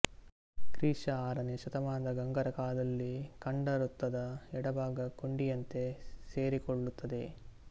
ಕ್ರಿ ಶ ಆರನೆಯ ಶತಮಾನದ ಗಂಗರ ಕಾಲದಲ್ಲಿ ಖಂಡವೃತ್ತದ ಎಡಭಾಗ ಕೊಂಡಿಯಂತೆ ಸೇರಿಕೊಳ್ಳುತ್ತದೆ